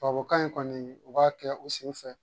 Tubabukan in kɔni u b'a kɛ u sen fɛ